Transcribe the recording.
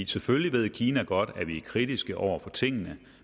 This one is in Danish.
selvfølgelig ved kina godt at vi er kritiske over for tingene